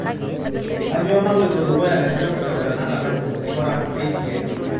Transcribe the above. kainyio naloito dukuya teseuseu tenakata nji ng'ura k.t.n